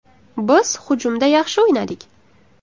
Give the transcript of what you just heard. Biz hujumda yaxshi o‘ynadik.